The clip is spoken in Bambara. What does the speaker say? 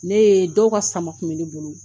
Ne ye, dɔw ka sama kun bɛ ne bolo.